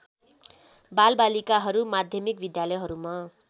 बालबालिकाहरू माध्यमिक विद्यालयहरूमा